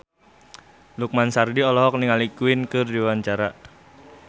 Lukman Sardi olohok ningali Queen keur diwawancara